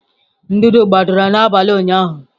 ndụdụ gbadara n'abalị ụnyahụ.